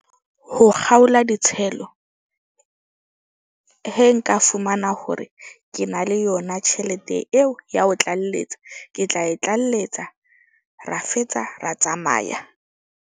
Ho kgaola ditshelo nka fumana hore ke na le yona tjhelete eo ya ho tlalletsa. Ke tla e tlalletsa. Ra fetsa ra tsamaya.